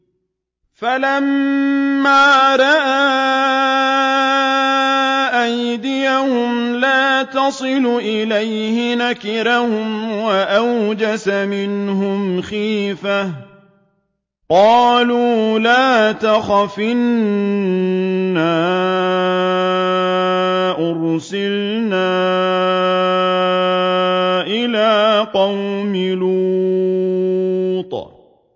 فَلَمَّا رَأَىٰ أَيْدِيَهُمْ لَا تَصِلُ إِلَيْهِ نَكِرَهُمْ وَأَوْجَسَ مِنْهُمْ خِيفَةً ۚ قَالُوا لَا تَخَفْ إِنَّا أُرْسِلْنَا إِلَىٰ قَوْمِ لُوطٍ